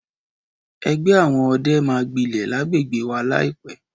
Ẹgbẹ́ àwọn ọdẹ máa gbilẹ̀ lágbègbè wà láìpẹ́.